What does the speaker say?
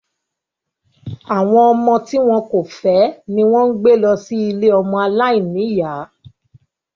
Àwọn ọmọ tí wọn kò fẹ́ ni wón ń gbé lọ sí ilée ọmọ aláìníyá